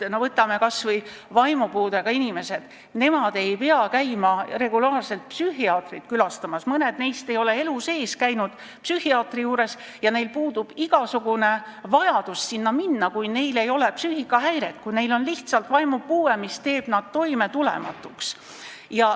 Võtame kas või vaimupuudega inimesed: nemad ei pea käima regulaarselt psühhiaatri juures, mõni neist ei ole elu sees psühhiaatri juures käinud ja neil puudub igasugune vajadus sinna minna, kui neil ei ole psüühikahäiret, neil on lihtsalt vaimupuue, mis muudab nad toimetulematuks.